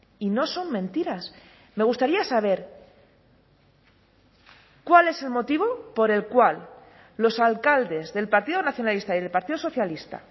y no son mentiras me gustaría saber cuál es el motivo por el cual los alcaldes del partido nacionalista y del partido socialista